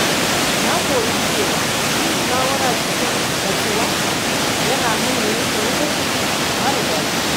Na koyi cewa yin shawara cikin natsuwa yana hana yanke hukunci mara daɗi.